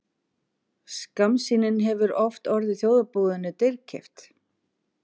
Skammsýnin hefur oft orðið þjóðarbúinu dýrkeypt.